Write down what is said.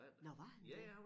Nåh var han det?